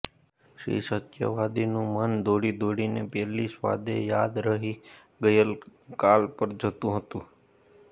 શ્રી સત્યવાદીનું મન દોડી દોડીને પેલી સ્વાદે યાદ રહી ગયેલી ગઈ કાલ પર જતું હતું